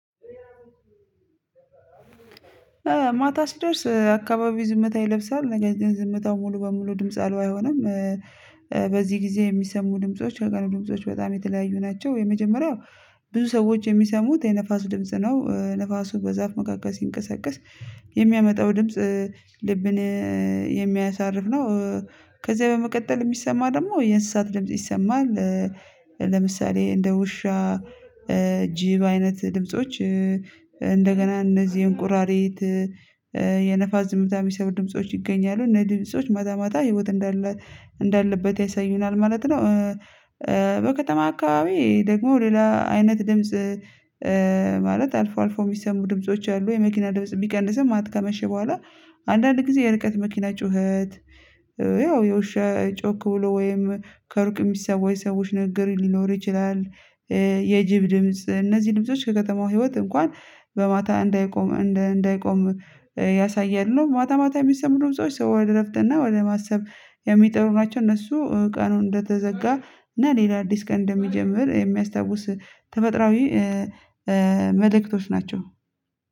ማታ ስደርስ አካባቢ ዝምታ ይለብሳል ነገር ግን ዝምታው ሙሉ በሙሉ ድምጽ አልባ አይሆንም። በዚህ ጊዜ የሚሰሙ ድምጾች ከቀኑ ድምጾች በጣም የተለያዩ ናቸው። የመጀመሪያው ብዙ ሰዎች የሚሰሙት የንፋስ ድምጽ ነው ንፋሱ በዛፍ መካከል ሲንቀሳቀስ የሚያመጣው ድምጽ ልብን የሚያሳርፍ ነው። ከዛ በመቀጠል የሚሰማ ደግሞ የእንስሳት ድምጽ ይሰማል። ለምሳሌ እንደ ውሻ ጅብ አይነት ድምጾች። እነዚህን እቁራሪት የነፋስ ዝምታ የሚሰብ ድምጾች ይገኛሉ እነዚ ድምጾች ማታ ማታ እንዳለበት ያሳዩናል ማለት ነው። በከተማ አካባቢ ደግሞ ሌላ አይነት ድምጽ ማለት አልፎ አልፎ የሚሰሙ ድምጾች አሉ። የመኪና ድምጽ ቢቀንስም ማት ከመሸ በኋላ አንዳንድ ጊዜ የርቀት መኪና ጩኸት ያው የውሸ ጮክ ብሎ ወይም ከሩቅ የሚሰማ የሰዎች ንግግር ሊኖር ይችላል። የጅብ ድምጽ እነዚህ ድምጾች ከከተማው ህይወት እንኳን በማታ እንዳይቆም እንዳይቆም ያሳያለ ነው። ማታ ማታ የሚሰሙት ድምጾች ሰው ወደ ረፍትና ወደ ማሰብ የሚጠሩ ናቸው። እነሱ ቀኑን እንደተዘጋ እና ሌላ አዲስ ቀን እንደሚጀምር የሚያስታውስ ተመጥራዊ መልእክቶች ናቸው።